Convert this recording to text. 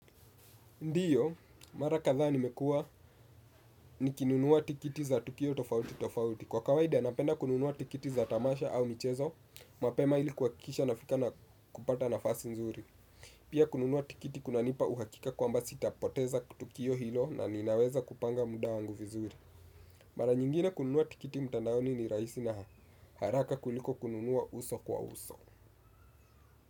Ndio, mara kadhaa nimekua nikinunua tikiti za tukio tofauti tofauti. Kwa kawaida napenda kununua tikiti za tamasha au michezo, mapema ili kuhakikisha nafika na kupata nafasi nzuri. Pia kununua tikiti kunanipa uhakika kwamba sitapoteza kutukio hilo na ninaweza kupanga muda wangu vizuri. Mara nyingine kununua tikiti mtandaoni ni rahisi na haraka kuliko kununua uso kwa uso.